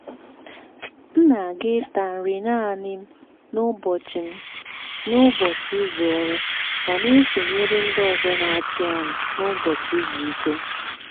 m na-aga ịta nri naanị m n’ụbọchị m n’ụbọchị izu ọrụ ma na-esonyere ndị ọzọ na-achị anụ n’ụbọchị izu ike.